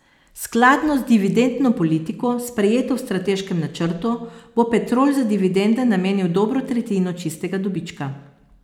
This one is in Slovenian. Skladno z dividendno politiko, sprejeto v strateškem načrtu, bo Petrol za dividende namenil dobro tretjino čistega dobička.